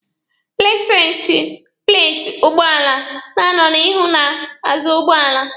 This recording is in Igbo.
Laisensi pleeti ụgbọala na-anọ n'ihu na n'azụ ụgbọala.